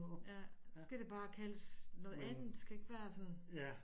Ja skal det bare kaldes noget andet det skal ikke være sådan